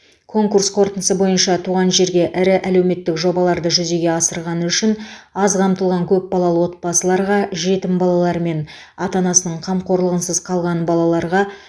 конкурс қорытындысы бойынша туған жерге ірі әлеуметтік жобаларды жүзеге асырғаны үшін аз қамтылған көпбалалы отбасыларға жетім балалар мен ата анасының қамқорлығынсыз қалған балаларға